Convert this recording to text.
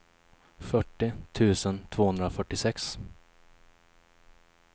fyrtio tusen tvåhundrafyrtiosex